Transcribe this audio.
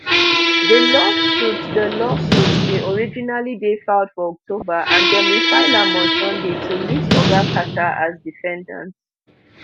di lawsuit di lawsuit bin originally dey filed for october and dem refile am on sunday to list oga carter as defendant